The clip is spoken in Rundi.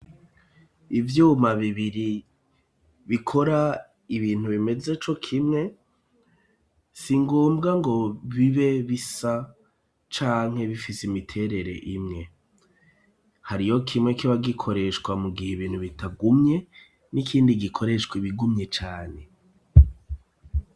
Ivyuma bibiri bikora ibintu bimeze cokimwe, singombwa ngo bibe bisa canke bifise imiterere imwe. Hariho kimwe kiba gikoreshwa mu gihe ibintu bitagumye n'ikindi gikoreshwa ibigumye cane.